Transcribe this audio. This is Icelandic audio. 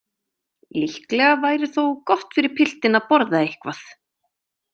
Líklega væri þó gott fyrir piltinn að borða eitthvað.